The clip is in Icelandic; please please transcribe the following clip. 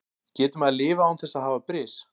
Getur maður lifað án þess að hafa bris?